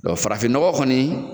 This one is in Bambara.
Dɔn farafin ɲɔgɔ kɔni